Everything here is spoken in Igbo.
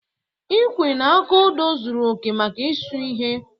Ikwee na aka odọọ zuru oke maka ịsụ ihe.